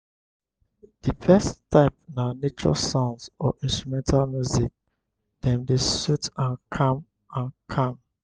di best type na nature sounds or instrumental music dem dey sooth and calm. and calm.